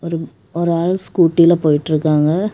ஒருப் ஒரு ஆள் ஸ்கூட்டில போயிட்டுருக்காங்க.